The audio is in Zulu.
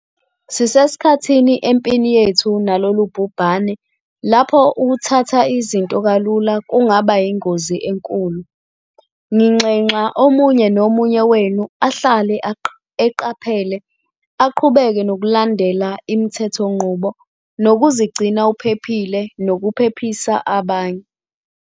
Sisesikhathini empini yethu nalolu bhubhane lapho ukuthatha izinto kalula kungaba yingozi enkulu. Nginxenxa omunye nomunye wenu ahlale eqaphele, aqhubeke nokulandela imithethonqubo, nokuzigcina uphephile nokuphephisa abanye.